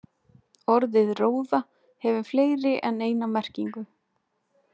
Orðið róða hefur fleiri en eina merkingu.